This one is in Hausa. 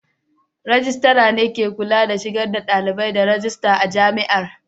Rejistira ne ke kula da shigar da dalibai da rajista a Jami'ar.